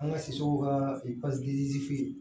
An ka sɛsow ka